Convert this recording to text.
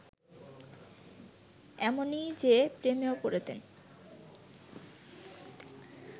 এমনই, যে, প্রেমেও পড়তেন